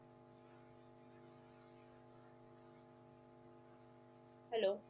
hello